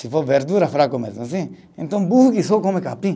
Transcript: Se for verdura fraco mesmo assim, então burro que só come capim.